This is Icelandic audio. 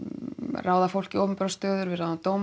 ráða fólk í opinberar stöður við ráðum dómara